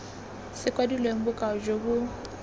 se kwadilweng bokao jo bo